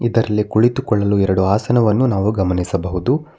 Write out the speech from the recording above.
ಇದ್ರಲ್ಲಿ ಕುಳಿತುಕೊಳಲು ಎರಡು ಆಸನವನ್ನು ನಾವು ಗಮನಿಸಬಹುದು.